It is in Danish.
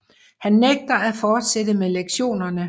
Han nægter at fortsætte med lektionerne